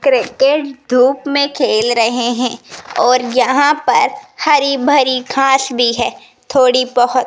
cricket धूप में खेल रहे हैं और यहां पर हरी भरी खास भी है थोड़ी बहोत --